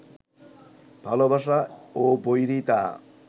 ভালোবাসা ও বৈরিতা